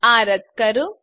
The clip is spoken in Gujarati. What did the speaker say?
આ રદ્દ કરો